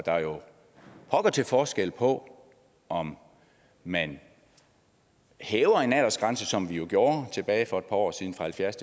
er jo pokker til forskel på om man hæver en aldersgrænse som vi gjorde for et par år siden fra halvfjerds